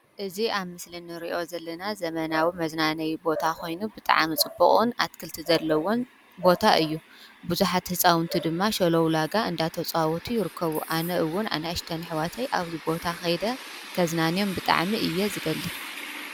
እዚ ኣብ ምስሊ እንርእዮ ዘለና ዘመናዊ መዝናነይ ቦታ ኾይኑ ብጣዕሚ ጽብቕን ኣትክልቲ ዘለውን ቦታ እዩ። ብዙኃት ሕፃውንቲ ድማ ሸለውላጋ እንዳተጽዋቱ ይርከቡ። ኣነ እውን ኣነእሽተን እሕዋተይ ኣብዚ ቦታ ኸይደ ከዝናንዮም ብጣዓሚ እየ ዝደሊ።